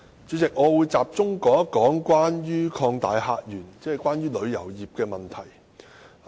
主席，我會集中談談"擴大客源"，即關乎旅遊業的問題。